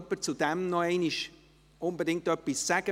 Möchte jemand noch unbedingt etwas dazu sagen?